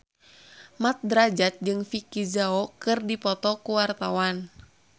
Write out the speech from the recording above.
Mat Drajat jeung Vicki Zao keur dipoto ku wartawan